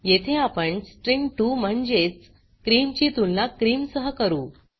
येथे आपण स्ट्रिंग2 म्हणजेच क्रीम ची तुलना क्रीम सह करू